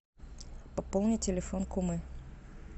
пополни телефон кумы